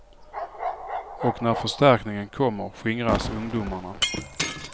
Och när förstärkningen kommer, skingras ungdomarna.